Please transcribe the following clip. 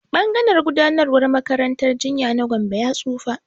Ɓangaren gudanarwar makarantar jinya na Gombe ya tsufa.